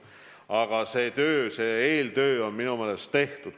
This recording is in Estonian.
Aga eeltöö on minu meelest tehtud.